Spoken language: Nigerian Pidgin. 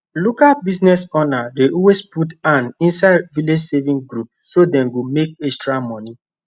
local business owner dey always put hand inside village savings group so dem go make extra money